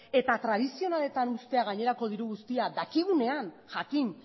eta tradizionaletan uztea gainerako diru guztia dakigunean jakin